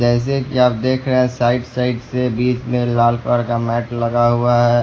जैसे कि आप देख रहे हैं साइड - साइड से बीच में लाल कलर का मैट लगा हुआ है।